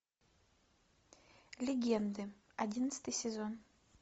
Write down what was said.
легенды одиннадцатый сезон